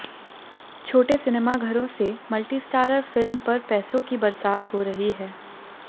छोटे सिनेमाघरों से मल्टीस्टारर फिल्म पर पैसों की बरसात हो रही है